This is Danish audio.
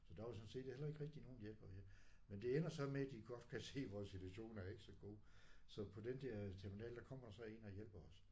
Så der var sådan set heller ikke rigtig nogen hjælp at hente. Men det ender så med de godt kan se vores situation er jo ikke så god så på den der terminal der kommer der så en og hjælper os